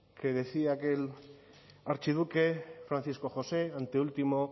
que decía que el archiduque francisco josé anteúltimo